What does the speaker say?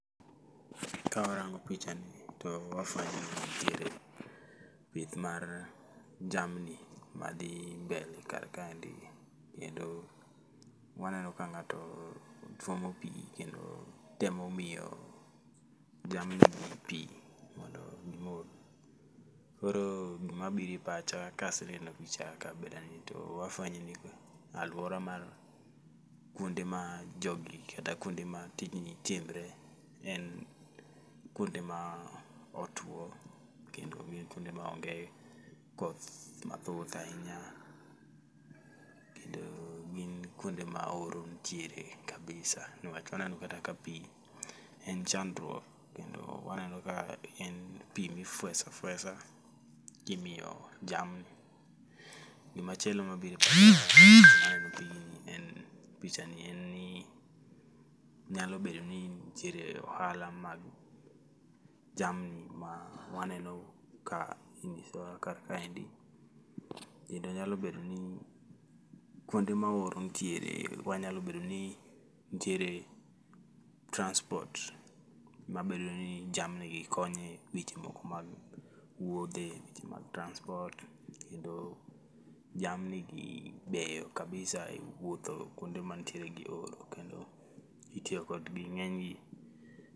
Ka warango picha ni to wafwenyo ni nitiere pith mar jamni ma dhi mbele kar kaendi gi ni. Kendo waneno ka ng'ato twomo pi, kendo temo miyo jamni gi pi mondo gimodhi. Koro gima bire pacha kaseneno picha kabila ni to wafwenyo ni to alwora mar kuonde ma jogi kata kuonde ma tijni timre en kuonde ma otuo kendo gin kuonde ma onge koth mathoth ahinya. Kendo gin kuonde ma oro nitie kabisa, niwach waneno kata ka pi en chandruok. Kendo waneno ka en pi mifwesa fwesa kimiyp jamni. Gimachielo mabire pacha sama neno pigni en picha ni en ni nyalo bedo ni nitiere ohala mag jamni ma waneno ka ing'isowa kar kaendi. Kendo nyalo bedo ni kuonde ma oro ntiere, wanyalo bedo ni ntiere transport ma bedo ni jamni gi konye weche moko mag wuodhe, weche mag transport. Kendo jamni gi beyo kabisa e wuotho kuonde mantiere gi horo, kendo itiyo kodgi ng'eny gi.